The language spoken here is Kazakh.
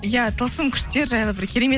иә тылсым күштер жайлы бір керемет